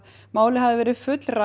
málið hafi verið fullrætt